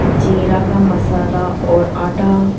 जिरा का मसाला और आटा--